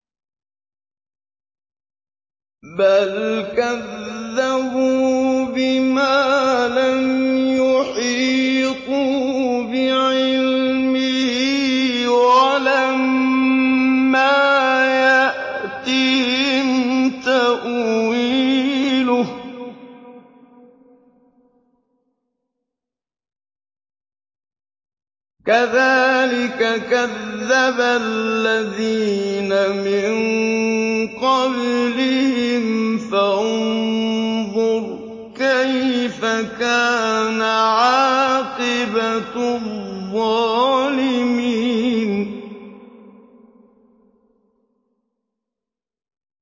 بَلْ كَذَّبُوا بِمَا لَمْ يُحِيطُوا بِعِلْمِهِ وَلَمَّا يَأْتِهِمْ تَأْوِيلُهُ ۚ كَذَٰلِكَ كَذَّبَ الَّذِينَ مِن قَبْلِهِمْ ۖ فَانظُرْ كَيْفَ كَانَ عَاقِبَةُ الظَّالِمِينَ